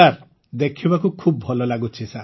sir ଦେଖିବାକୁ ଖୁବ୍ ଭଲ ଲାଗୁଛି